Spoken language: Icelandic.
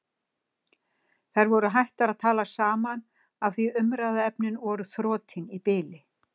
Þær voru hættar að tala saman af því umræðuefnin voru þrotin í bili.